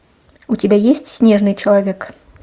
у тебя есть снежный человек